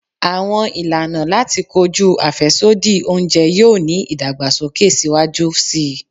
Awọn ilana lati koju afẹsodi ounjẹ yoo ni idagbasoke siwaju sii